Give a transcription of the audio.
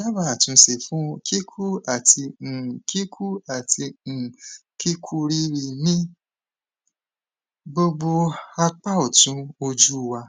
daba atunse fun kiku ati um kiku ati um kikuriri ni gbogbo apa otun oju wa